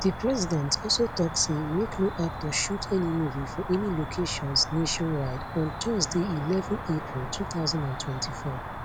di president also tok say make no actor shoot any movie for any locations nationwide on thursday eleven april 2024